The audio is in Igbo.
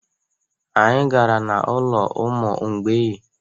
Anyị gara n'ụlọ ụmụ mgbei.